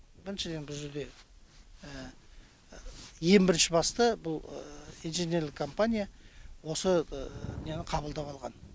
біріншіден бұл жерде ең бірінші басты бұл инженерлік компания осы нені қабылдап алған